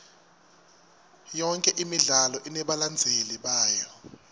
yonke imidlalo inebalandzeli bayo